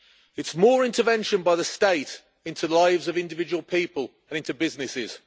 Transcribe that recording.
it is more intervention by the state into the lives of individual people and into businesses.